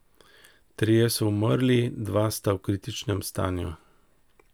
Trije so umrli, dva sta v kritičnem stanju.